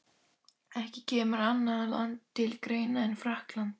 Ekki kemur annað land til greina en Frakkland.